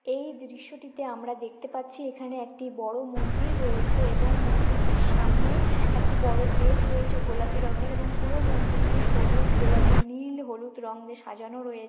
এই দৃশ্যটিতে আমরা দেখতে পাচ্ছি এখানে একটি বড় মন্দির রয়েছে এবং মন্দিরটির সামনে একটি বড় গেট রয়েছে গোলাপি রঙের এবং পুরো মন্দিরটি সবুজ গোলাপি নীল হলুদ রঙ দিয়ে সাজানো রয়ে--